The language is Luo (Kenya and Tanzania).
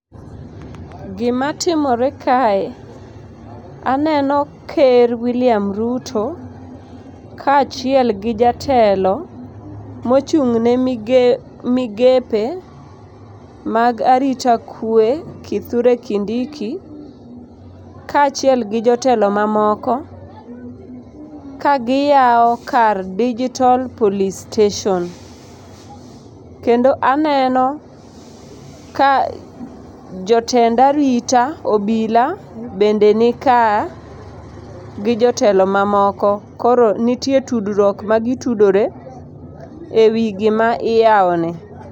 Gima timore kae, aneno ker William Ruto kaachiel gi jatelo mochung' ne migepe mag arita kwe, Kithure Kindiki kaachiel gi jotelo mamoko kagiyawo kar Digital Police Station. Kendo aneno ka jotend arita, obila bende nika gi jotelo mamoko. Koro nitie tudruok ma gitudore e wi gima iyawoni.